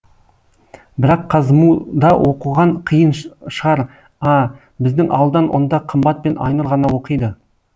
бірақ қазму да оқыған қиын шығар а біздің ауылдан онда қымбат пен айнұр ғана оқиды